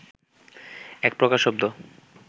একপ্রকার শব্দ